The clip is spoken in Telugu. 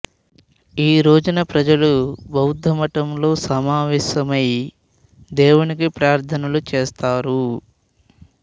ఈ రోజున ప్రజలు బౌద్ధ మఠంలో సమావేశమై దేవునికి ప్రార్థనలు చేస్తారు